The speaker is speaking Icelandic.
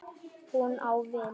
Hún á vin.